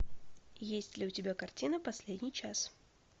есть ли у тебя картина последний час